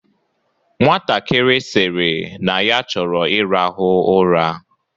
Nwatakiri sịrị na ya chọrọ ịrahụ ụra.